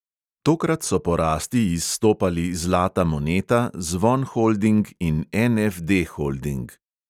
Tokrat so po rasti izstopali zlata moneta, zvon holding in NFD holding.